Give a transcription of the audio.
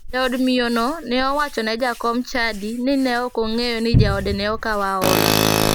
Jaod miyono ne owacho ne jakom chadi ni ne ok ong'eyo ni jaode ne okawo hola.